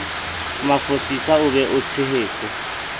mafosisa o be o tshehetse